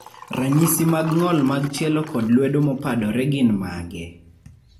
ranyisi mag ng'ol mag tielo kod lwedo mopadore gin mage?